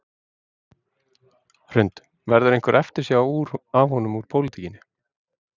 Hrund: Verður einhver eftirsjá af honum úr pólitíkinni?